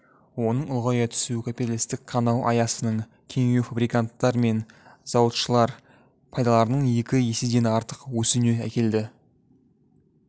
оның ұлғая түсуі капиталистік қанау аясының кеңеюі фабриканттар мен зауытшылар пайдаларының екі еседен артық өсуіне әкелді